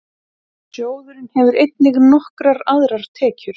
Sjóðurinn hefur einnig nokkrar aðrar tekjur.